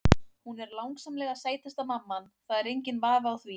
Hún er langsamlega sætasta mamman, það er enginn vafi á því.